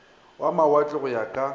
wa mawatle go ya ka